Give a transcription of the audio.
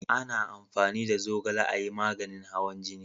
A na amfani da zogale a yi maganin hawan jini